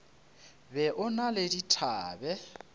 be o na le dithabe